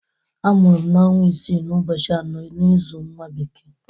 Amụru m n'ọnwa isiii n'ụbọchị anọ n'ịzụ nwa bekee.